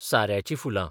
साऱ्याचीं फुलां